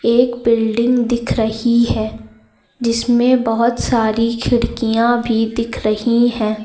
एक बिल्डिंग दिख रही है जिसमें बहुत सारी खिड़कियां भी दिख रही हैं।